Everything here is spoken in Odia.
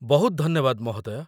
ବହୁତ ଧନ୍ୟବାଦ, ମହୋଦୟ!